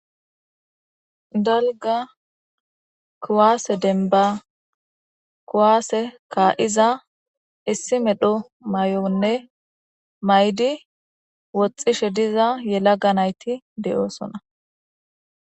Dalga kuwase demban kuwase ka'iza issi mesho mayone mayidi woxishe diza yelaga nayti de'osona